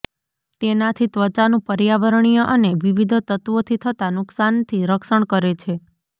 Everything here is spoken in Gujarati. તેનાથી ત્વચાનું પર્યાવરણીય અને વિવિધ તત્ત્વોથી થતા નુકસાનથી રક્ષણ કરે છે